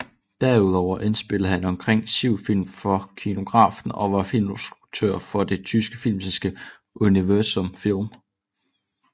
Derudover indspillede han omkring syv film for Kinografen og var filminstruktør for det tyske filmselskab Universum Film